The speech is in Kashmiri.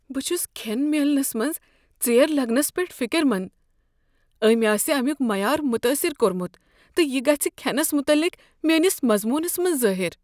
بہٕ چھس کھین میلننس منز ژیر لگنس پیٹھ فکر مند۔ أمۍ آسہ امیک معیار متٲثر کوٚرمت تہٕ یہ گژھہٕ کھینس متعلق میٲنس مضمونس منٛز ظٲہر۔